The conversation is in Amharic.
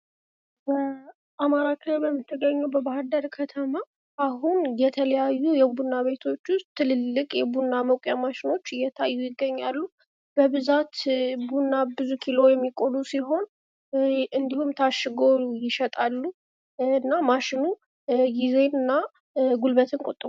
በአማራ ክልል የምትገኘዉ በባህርዳር ከተማ አሁን የተለያዩ የቡና ቤቶች ዉስጥ ትልልቅ የቡና መቁያ ማሽኖች እየታዩ ይገኛሉ። በብዛት ቡና ቡዙ ኪሎ የሚቆሉ ሲሆን እና ታሽጎ ይሸጣሉ። እና ማሽኑ ጊዜን እና ጉልበትን ይቆጥባል።